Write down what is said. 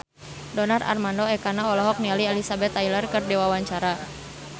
Donar Armando Ekana olohok ningali Elizabeth Taylor keur diwawancara